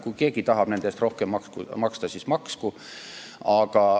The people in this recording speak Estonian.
Kui keegi tahab nende eest rohkem maksta, siis maksku.